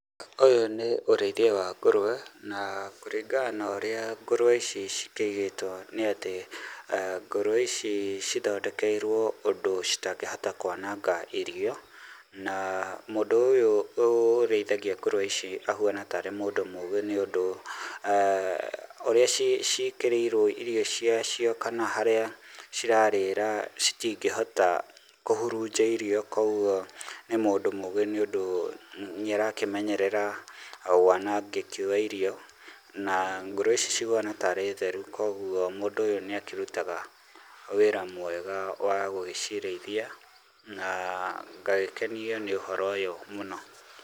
Ũyũ nĩ ũrĩithia wa ngũrũwe, na kũringana na ũrĩa ngũrũwe ici cikĩigĩtwo nĩ atĩ, ngũrũwe ici cithondekeirwo ũndũ citangĩhota kwananga irio, na mũndũ ũyũ ũrĩithagia ngũrũwe ici ahuana tarĩ mũndũ mũgĩ nĩũndũ, ũrĩa ciĩkĩrĩirwo irio ciacio kana harĩa cirarĩra citingĩhota kũhurunja irio koguo nĩ mũndũ mũgĩ tondũ nĩ arakĩmenyerera wanangĩki wa irio, na ngũrũwe ici cihuana tarĩ theru koguo mũndũ ũyũ nĩ akĩrutaga wĩra mwega wa gũgĩcirĩithia, na ngagĩkenio nĩ ũhoro ũyũ mũno